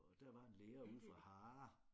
Og der var en lærer ude fra Harre